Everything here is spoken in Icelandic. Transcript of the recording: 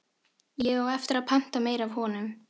Ég á eftir að panta meira af honum.